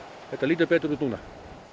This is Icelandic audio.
þetta lítur betur út núna